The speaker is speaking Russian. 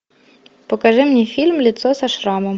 покажи мне фильм лицо со шрамом